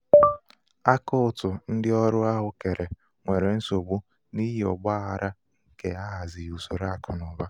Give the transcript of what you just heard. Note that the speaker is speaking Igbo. akaụtụ ndị ọrụ ahụ um kere um nwere nsogbu n'ihi ọgba aghara um nke ahazighị usoro akụnaụba.